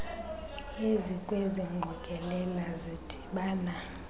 ezikwezi ngqokelela zidibana